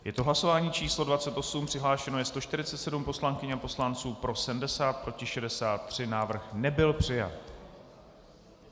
Je to hlasování číslo 28, přihlášeno je 147 poslankyň a poslanců, pro 70, proti 63, návrh nebyl přijat.